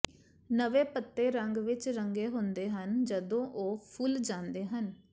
ਨਵੇਂ ਪੱਤੇ ਰੰਗ ਵਿੱਚ ਰੰਗੇ ਹੁੰਦੇ ਹਨ ਜਦੋਂ ਉਹ ਫੁੱਲ ਜਾਂਦੇ ਹਨ